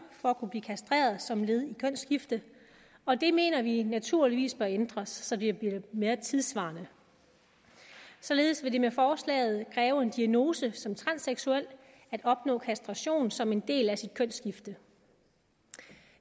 for at kunne blive kastreret som led i kønsskifte og det mener vi naturligvis bør ændres så det bliver mere tidssvarende således vil det med forslaget kræve en diagnose som transseksuel at opnå kastration som en del af et kønsskifte